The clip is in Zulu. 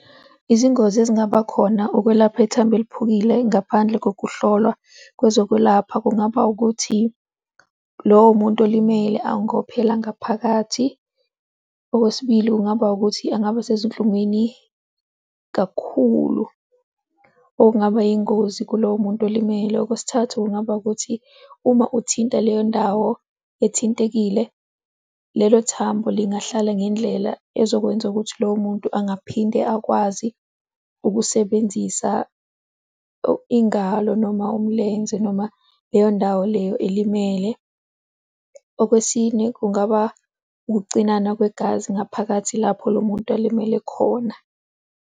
Izingozi ezingaba khona ukwelapha ithambo eliphukile ngaphandle kokuhlolwa kwezokwelapha, kungaba ukuthi, lowo muntu olimele angophela ngaphakathi. Okwesibili, kungaba ukuthi angaba sezinhlungwini kakhulu okungaba yingozi kulowo muntu olimele. Okwesithathu, kungaba ukuthi uma uthinta leyo ndawo ethintekile, lelo thambo lingahlala ngendlela ezokwenza ukuthi lowo muntu angaphinde akwazi ukusebenzisa ingalo noma umlenze noma leyo ndawo leyo elimele. Okwesine, kungaba ukucinana kwegazi ngaphakathi lapho lo muntu alimele khona.